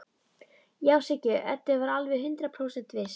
Já, Siggi Öddu var alveg hundrað prósent viss.